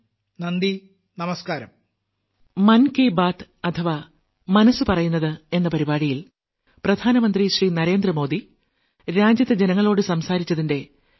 നന്ദി നമസ്കാരം